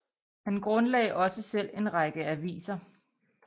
Han grundlagde også selv en række aviser